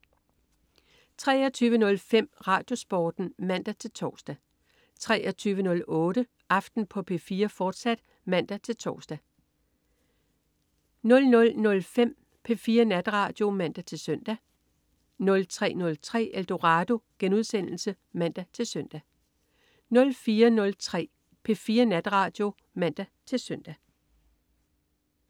23.05 RadioSporten (man-tors) 23.08 Aften på P4, fortsat (man-tors) 00.05 P4 Natradio (man-søn) 03.03 Eldorado* (man-søn) 04.03 P4 Natradio (man-søn)